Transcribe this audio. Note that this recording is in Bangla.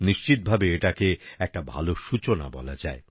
নিশ্চিত ভাবে এটাকে একটা ভাল সূচনা বলা যায়